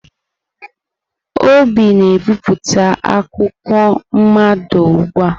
Obi na-ebipụta akwụkwọ mmado ugbu a?